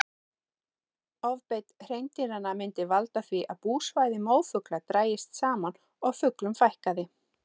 Ofbeit hreindýranna myndi valda því að búsvæði mófugla drægist saman og fuglum fækkaði.